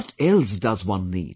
What else does one need